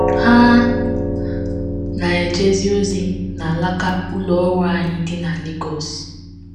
Ha na - ejezi ozi n’alaka ụlọ ọrụ anyị dị na Lagos. ”